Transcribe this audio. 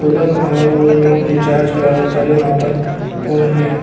और उ लोग रिचार्ज करावता लो आपन फ़ोन में।